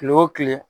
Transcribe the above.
Kile o kile